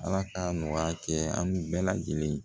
Ala k'a nɔgɔya kɛ an bɛɛ lajɛlen